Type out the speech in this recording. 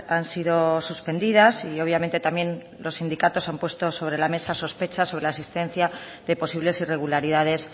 han sido suspendidas y obviamente también los sindicatos han puesto sobre la mesa sospechas sobre la existencia de posibles irregularidades